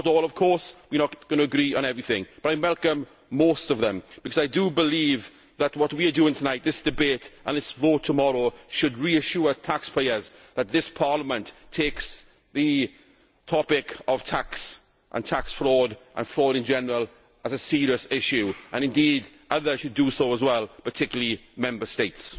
Not all, of course we are not going to agree on everything, but I welcome most of them because I believe that what we are doing tonight, this debate and this vote tomorrow, should reassure taxpayers that this Parliament takes the topic of tax and tax fraud and fraud in general as a serious issue, and indeed others should do so as well, particularly Member States.